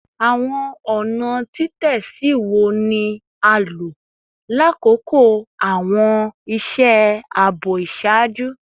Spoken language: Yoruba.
Awọn ọna titẹsi wo ni a lo lakoko awọn iṣẹ aabo iṣaaju?